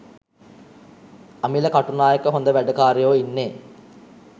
අමිල කටුනායක හොඳ වැඩකාරයෝ ඉන්නේ